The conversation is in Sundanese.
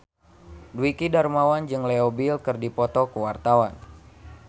Dwiki Darmawan jeung Leo Bill keur dipoto ku wartawan